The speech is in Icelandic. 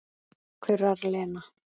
kurrar Lena.